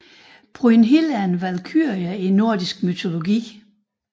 Brynhild er en valkyrie i nordisk mytologi